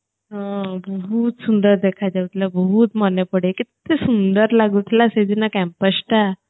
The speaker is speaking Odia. ହୁଁ ବହୁତ ସୁନ୍ଦର ଦେଖାଯାଉଥିଲା ବହୁତ ମନେପଡେ କେତେ ସୁନ୍ଦର ଲାଗୁଥିଲା ସେଦିନ campusଟା